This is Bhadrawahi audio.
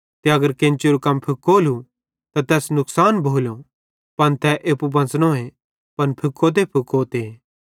ते अगर केन्चेरू कम फुकोलू त तैस नुकसान भोलो पन तै एप्पू बच़नोए पन फुकोतेफुकोते